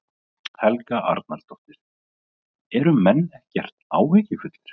Helga Arnardóttir: Eru menn ekkert áhyggjufullir?